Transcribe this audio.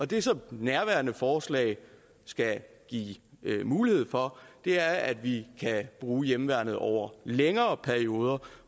det som nærværende forslag skal give mulighed for er at vi kan bruge hjemmeværnet over længere perioder